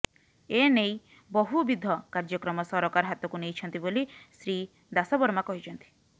ଏନେଇ ବହୁବିଧ କାର୍ଯ୍ୟକ୍ରମ ସରକାର ହାତକୁ ନେଇଛନ୍ତି ବୋଲି ଶ୍ରୀ ଦାସବର୍ମା କହିଛନ୍ତି